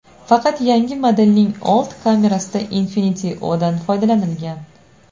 Faqat yangi modelning old kamerasida Infinity-O‘dan foydalanilgan.